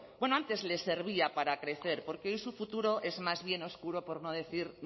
bueno antes les servía para crecer porque hoy su futuro es más bien oscuro por no decir